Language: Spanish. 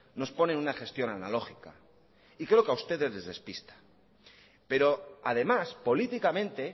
nos pone en una gestión analógica y creo que a ustedes les despista pero además políticamente